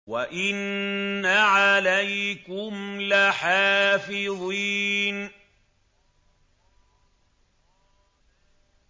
وَإِنَّ عَلَيْكُمْ لَحَافِظِينَ